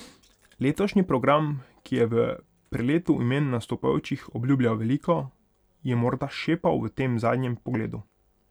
Letošnji program, ki je v preletu imen nastopajočih obljubljal veliko, je morda šepal v tem zadnjem pogledu.